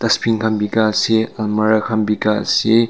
khan duita ase almari khan duita ase.